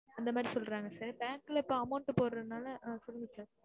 அந்த மாதிரி சொல்றாங்க sir bank ல இப்ப amount டு போடுரனால ஆ சொல்லுங்க sir